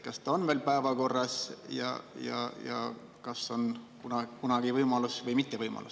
Kas see on veel päevakorras ja kas kunagi võimalus või mitte?